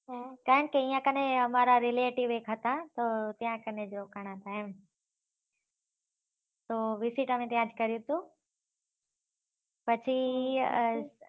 કારણ કે અયીયા કને અમારા relative એક હતા તો ત્યાં કને જ રોકાના હતા એમ તો પછી આ